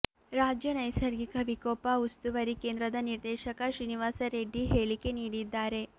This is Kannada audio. ರಾಜ್ಯ ನೈಸರ್ಗಿಕ ವಿಕೋಪ ಉಸ್ತುವಾರಿ ಕೇಂದ್ರದ ನಿರ್ದೇಶಕ ಶ್ರೀನಿವಾಸ ರೆಡ್ಡಿ ಹೇಳಿಕೆ ನೀಡಿದ್ದಾರೆ